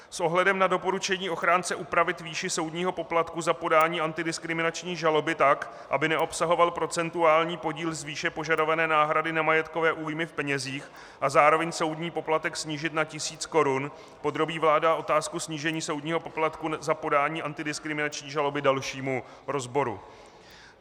S ohledem na doporučení ochránce upravit výši soudního poplatku za podání antidiskriminační žaloby tak, aby neobsahoval procentuální podíl z výše požadované náhrady nemajetkové újmy v penězích, a zároveň soudní poplatek snížit na tisíc korun podrobí vláda otázku snížení soudního poplatku za podání antidiskriminační žaloby dalšímu rozboru.